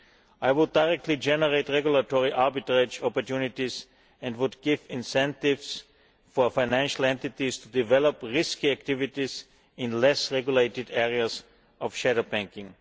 I would directly generate regulatory arbitrage opportunities and give incentives for financial entities to develop risky activities in less regulated areas of shadow banking.